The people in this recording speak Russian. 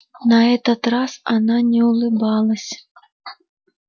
на этот раз она не улыбалась